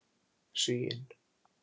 Sigyn